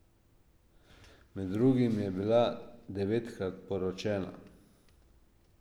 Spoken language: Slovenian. Med drugim je bila devetkrat poročena.